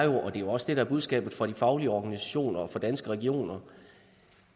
jo også det der er budskabet fra de faglige organisationer og fra danske regioner